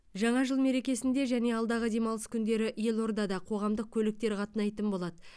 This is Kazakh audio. жаңа жыл мерекесінде және алдағы демалыс күндері елордада қоғамдық көліктер қатынайтын болады